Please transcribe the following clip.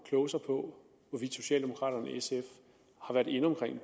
kloge sig på hvorvidt socialdemokraterne og sf har været inde omkring de